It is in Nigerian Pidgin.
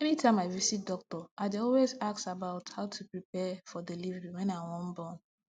anytime i visit doctor i dey always ask about how to prepare for delivery wen i wan born